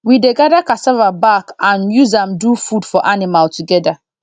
we dey gather cassava back and use am do food for animal together